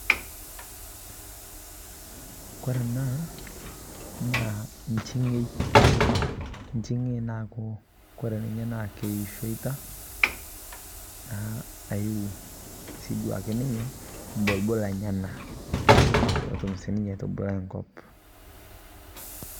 kore anaa naa nchingei, naa kore naasita tenee naa keishoitaa ayiu mbolbol enyanaa pootum sii ninye aitubalai nkop